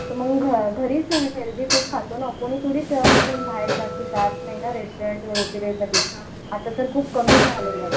तर मग घरीच हेल्थी फूड खातो ना कुणी थोडी बाहेर जात नाही ना रेस्टोरंट वगैरेमध्ये आता तर खूप कमी झालेलं आहे.